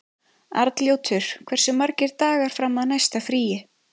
Arnljótur, hversu margir dagar fram að næsta fríi?